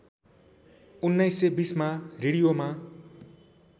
१९२०मा रेडियोमा